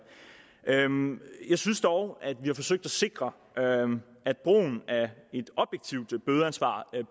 jeg synes dog at vi har forsøgt at sikre at brugen af et objektivt bødeansvar